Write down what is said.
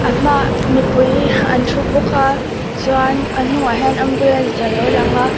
a hma mipui an thu bawk chuan a hnungah hian ambulance alo lang a.